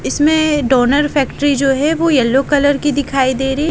इसमें donor factory जो है वो येलो कलर की दिखाई दे रही--